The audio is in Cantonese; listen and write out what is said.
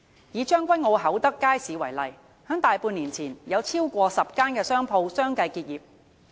以將軍澳厚德街市為例，在大半年前，有超過10間商鋪相繼結業。